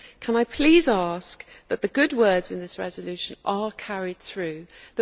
Can I please ask that the good words in this resolution be acted upon